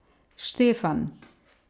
Štefan?